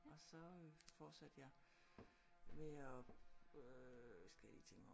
Og så øh fortsatte jeg med og øh nu skal jeg lige tænke mig om